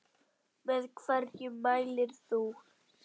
Með hverju mælir þú?